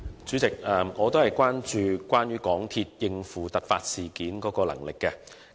主席，我同樣關注到港鐵應付突發事件的能力。